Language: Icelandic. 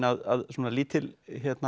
að svona lítil